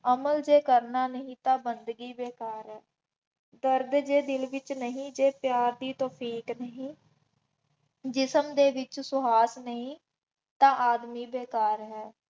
ਅਮਲ ਜੇ ਕਰਨਾ ਨਹੀਂ ਤਾਂ ਬੰਦਗੀ ਬੇਕਾਰ ਹੈ। ਦਰਦ ਜੇ ਦਿਲ ਵਿੱਚ ਨਹੀਂ ਅਤੇ ਪਿਆਰ ਦੀ ਤੋਫੀਕ ਨਹੀਂ, ਜਿਸਮ ਦੇ ਵਿੱਚ ਸੁਆਸ ਨਹੀਂ ਤਾਂ ਆਦਮੀ ਬੇਕਾਰ ਹੈ।